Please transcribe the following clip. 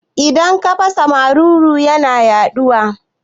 Idan ka fasa maruru yana yaɗuwa